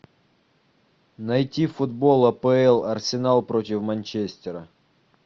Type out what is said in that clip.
найти футбол апл арсенал против манчестера